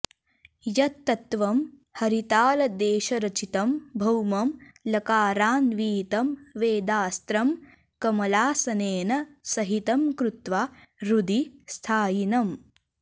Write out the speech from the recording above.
यत्तत्त्वं हरितालदेशरचितं भौमं लकाराऽन्वितं वेदास्रं कमलासनेन सहितं कृत्वा हृदि स्थायिनम्